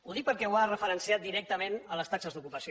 ho dic perquè ho ha referenciat directament a les taxes d’ocupació